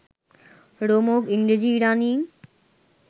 রোমক ইংরেজ ইরাণী